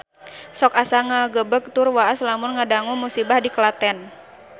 Sok asa ngagebeg tur waas lamun ngadangu musibah di Klaten